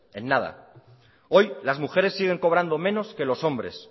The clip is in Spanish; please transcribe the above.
en nada hoy las mujeres siguen cobrando menos que los hombres